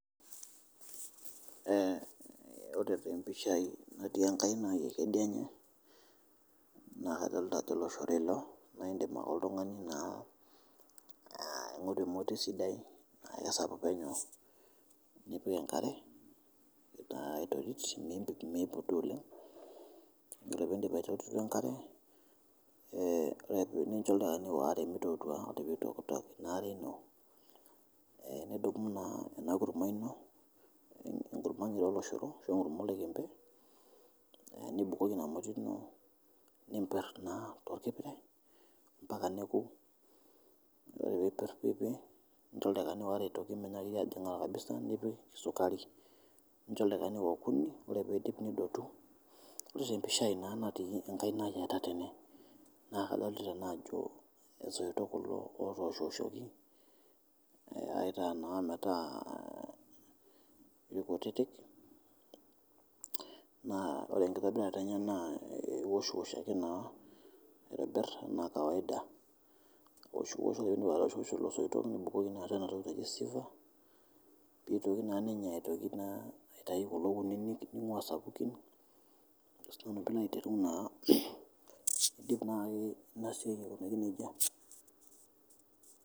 Ore te mpishai natii enkaina ai ekideinye naa kadolta ajo loshoro ilo naa iindim ake oltungani naa aing'oru emoti sidai esapuk enyoo npik enkare naa aitorit mimput dei oleng, ore piindip aitorito enkare nincho oldakikani oare meitotua, ore peitoktok ina are ino, nidumu naa ana kurumwa ino, nkurumwa oloshoro nibukoki ina moti ino nimpirr naaa te lkipire mpaka nekuu, ore piimpir nincho ldakikani aare otoki meinyaaki ajing'aa kabisa nipik sukari nincho ldakikani okuni ore piinduip nidotu, ore epishaa naa nati enkainai etetene naa kadolta nai ajo osoito otoshoshoki aitaa naa metaa lkutitik naa ore nkibirata enye naa iosh'osh naa aitibir anaa kawaida aosh'osho ore piindip lelo soito nibukoki atu ena toki naji siever neitoki naa ninye aitoki naa aitai kulo kuninik neing'ua sapuki ajo si nanu pilo aiteru naa aidip nesarichoreki etiu neja.